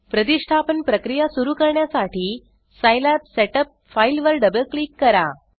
प्रतिष्ठापन प्रक्रिया सुरू करण्यासाठी सिलाबसेटअप फाइल वर डबल क्लिक करा